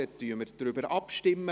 Dann stimmen wir ab.